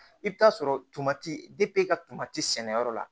I bɛ taa sɔrɔ tamati ka sɛnɛyɔrɔ la